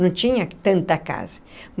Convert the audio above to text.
Não tinha tanta casa.